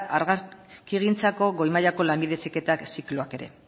argazkigintzako goi mailako lanbide heziketa zikloak ere